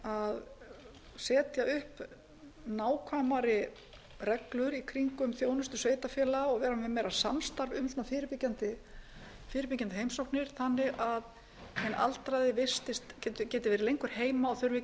að setja upp nákvæmari reglur í kringum þjónustu sveitarfélaga og vera með meira samstarf um fyrirbyggjandi heimsóknir þannig að hinn aldraði geti verið lengur heima og þurfi ekki að